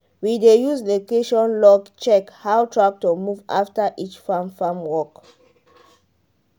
we dey use location log check how tractor move after each farm farm work.